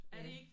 Ja